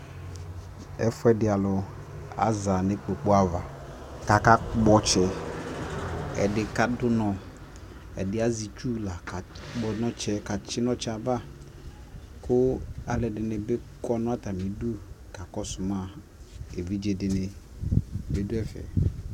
ɛƒʋɛdi alʋ aza nʋ ikpɔkʋ aɣa kʋ aka kpɔ ɔtsɛ, ɛdi kadʋ ʋnɔ ,ɛdiɛ azɛ itsʋ la ka kpɔ ɔtsɛ ka tsi ɔtsɛ aɣa kʋ alʋɛdini bi.kɔnʋ atamidʋ kakɔsʋ ma, ɛvidzɛ di dʋ ɛƒɛ.